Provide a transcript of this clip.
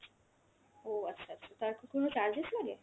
ও আচ্ছা আচ্ছা, তার কি কোনো charges লাগে?